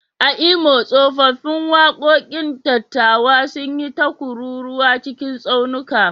A Imo, tsofaffin waƙoƙin dattawa sun yi ta kururwa cikin tsaunuka.